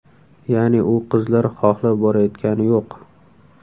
Ya’ni u qizlar xohlab borayotgani yo‘q.